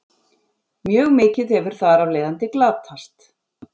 Mjög mikið hefur þar af leiðandi glatast.